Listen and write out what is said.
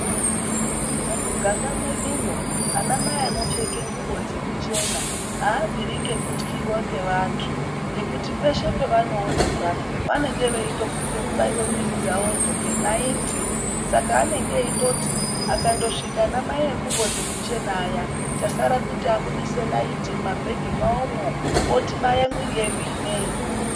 Mumuganga mwedumwo anamai anopfeke ngubo dzekuchena aabviri ngekutyiwa ngevantu, ngekuti peshe pevanoonekwa vanenge veindofunga kubaiwa mwiri dzavodzo ngenaiti. Saka anenge eindoti pakandosvika ana mai engubo dzekuchena aya chasara kuti abudise naiti mumabhegi mwavomwo otibaya mwiri yedu ineyi.